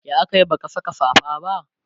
ya akayi baka Saka safa ba?